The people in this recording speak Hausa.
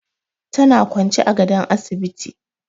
Tana kwance a gadon asibiti.